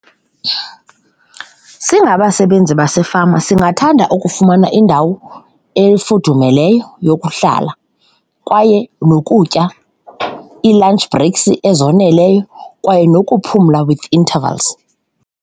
Singabasebenzi basefama singathanda ukufumana indawo efudumeleyo yokuhlala kwaye nokutya, ii-lunch breaks ezoneleyo kwaye nokuphumla with intervals.